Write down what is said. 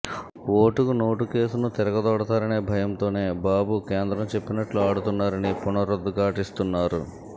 ఓటుకు నోటు కేసును తిరగతోడతారనే భయంతోనే బాబు కేంద్రం చెప్పినట్లు ఆడుతున్నారని పునరుద్ఘాటిస్తున్నారు